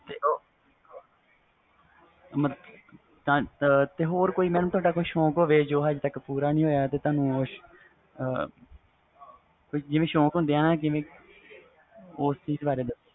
ਤੇ ਹੋਰ ਕੋਈ ਤੁਹਾਡਾ ਕੋਈ ਸੌਕ ਹੋਵੇ ਜੋ ਅਜੇ ਤਕ ਪੂਰਾ ਨਾ ਹੋਇਆ ਹੋਵੇ ਜਿਵੇ ਸੌਕ ਹੁੰਦੇ ਵ ਓਹਦੇ ਬਾਰੇ ਦਸੋ